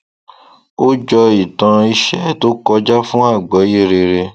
ó jọ ìtàn iṣẹ tó kọjá fún agbọye rere